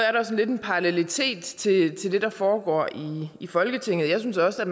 er der lidt en parallelitet til det der foregår i folketinget jeg synes også at